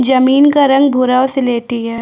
जमीन का रंग भूरा और स्लेटी है।